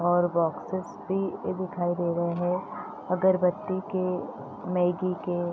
और बॉक्सेस भी दिखाई दे रहे हैं अगरबत्ती के मैगी के।